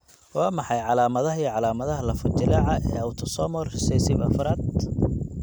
Waa maxay calamadaha iyo calaamadaha lafo-jileeca ee autosomal recessive afraad?